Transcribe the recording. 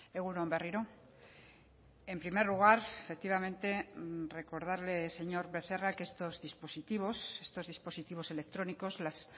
egun on berriro en primer lugar efectivamente recordarle señor becerra que estos dispositivos estos dispositivos electrónicos las